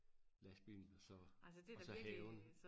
lastbilen og så og så haven